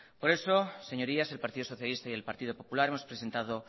por eso señorías el partido socialista y el partido popular hemos presentado